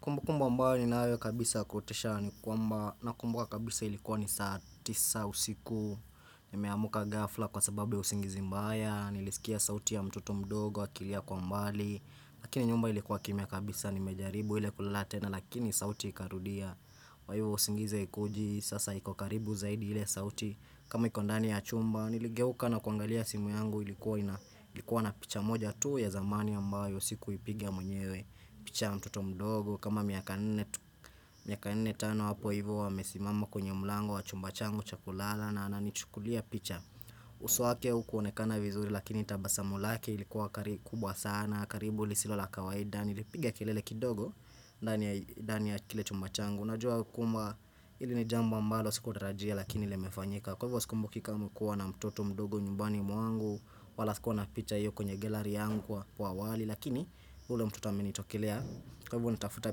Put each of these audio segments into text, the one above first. Kumbukumbu ambayo ninayo kabisa kutisha ni kwamba nakumbuka kabisa ilikuwa ni saa tisa usiku nimeamka ghafla kwa sababu ya usingizi mbaya, nilisikia sauti ya mtoto mdogo, akilia kwa mbali Lakini nyumba ilikuwa kimya kabisa, nimejaribu ile kulala tena lakini sauti ikarudia kwa hivyo usingizi haikuji, sasa iko karibu zaidi ili sauti kama iko ndani ya chumba, niligeuka na kuangalia simu yangu ilikuwa na picha moja tuu ya zamani ambayo sikuipigia mwenyewe picha ya mtoto mdogo kama miaka nne tano hapo hivo amesimama kwenye mlango wa chumba changu cha kulala na ananichukulia picha uso wake hukuonekana vizuri lakini tabazamu lake ilikuwa kubwa sana, karibu liisilo la kawaida nilipiga kilele kidogo ndani ya kile chumba changu unajua kwamba hili ni jambo ambalo sikutarajia lakini ili imefanyika Kwa hivyo sikumbuki kama kuwa na mtoto mdogo nyumbani mwangu wala sikuwa na picha hiyo kwenye gallery yangu kwa awali Lakini huyu ndio mtoto amenitokilea Kwa hivyo nitafuta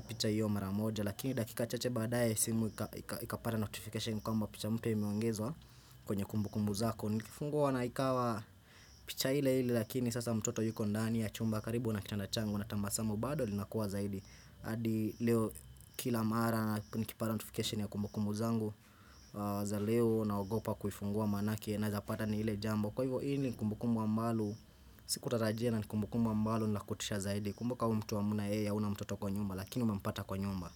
picha hiyo maramoja Lakini dakika chache baadaye simu ikapata notification kwamba picha mpya imeongezwa kwenye kumbukumbu zako Nikifungua na ikawa picha hile hile lakini sasa mtoto yuko ndani ya chumba karibu na kitanda changu na tabasamu bado linakuwa zaidi hadi leo kila mara nikipata notification ya kumbukumbu zangu za leo naogopa kufungua maanake naezapata ni ile jambo Kwa hivyo hili ni kumbukumu ambalo, si kutatajia na ni kumbukumu ambalo ni la kutisha zaidi. Kumbuka huyu mtu hamna yeye hauna mtoto kwa nyumba lakini unampata kwa nyumba.